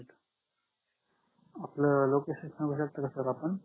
आपल लोकेशन सांगू शकता का सर